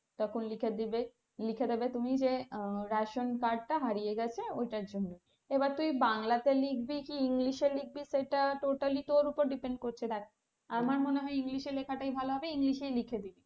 তখন লিখে দিবে লিখে দেবে তুমি যে ration card টা হারিয়ে গেছে ওটার জন্য এবার তুই বাংলাতে লিখবি কি english এ লিখবি সেটা totally তোর উপর depend করছে দেখ আমার মনে হয় ইংলিশে লেখাটাই ভালো হবে english এ লিখে দিবি।